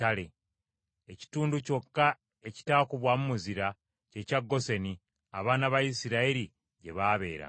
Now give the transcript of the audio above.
Ekitundu kyokka ekitaatuukwamu muzira, kye kya Goseni, abaana ba Isirayiri gye baabeeranga.